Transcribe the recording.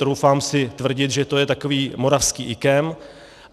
Troufám si tvrdit, že to je takový moravský IKEM.